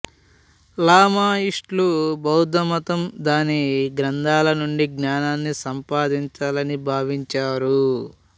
లామాయిస్టులు బౌద్ధమతం దాని గ్రంథాల నుండి జ్ఞానాన్ని సంపాదించాలని భావించారు